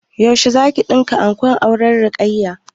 Yaushe zaki ɗinka ankon auren Rayya?